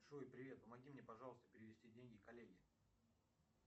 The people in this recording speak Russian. джой привет помоги мне пожалуйста перевести деньги коллеге